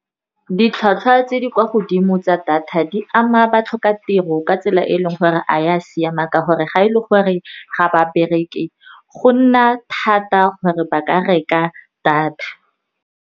Ditlhwatlhwa tse di kwa godimo tsa data, di ama batlhokatiro ka tsela e e leng gore ga e ya siama, ka gore ga e le gore ga ba bereke, go nna thata gore ba ka reka data.